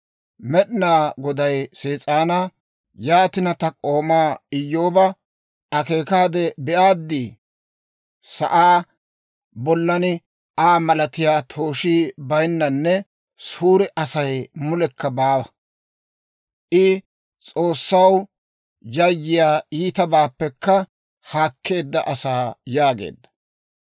Med'inaa Goday Sees'aanaa, «Yaatina, ta k'oomaa Iyyooba akeekaade be'aaddi? Sa'aa bollan Aa malatiyaa tooshii bayinnanne suure Asay mulekka baawa. I S'oossaw yayyiyaa, iitabaappekka haakkeedda asaa» yaageedda.